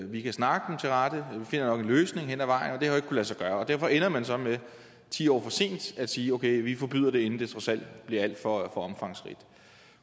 vi kan snakke dem til rette vi finder nok en løsning hen ad vejen det har jo ikke lade sig gøre og derfor ender man så med ti år sent at sige okay vi forbyder det inden det trods alt bliver alt for omfangsrigt